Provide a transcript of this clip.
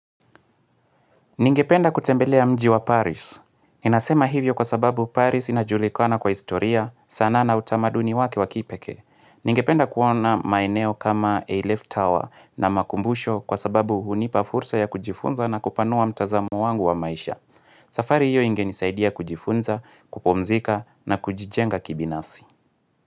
Ningependa kutembelea mji wa Paris. Ninasema hivyo kwa sababu Paris inajulikana kwa historia, sana na utamaduni wake wakipekee. Ningependa kuona maeneo kama A-Left Tower na makumbusho kwa sababu hunipa fursa ya kujifunza na kupanua mtazamo wangu wa maisha. Safari hiyo ingenisaidia kujifunza, kupumzika na kujijenga kibinafsi.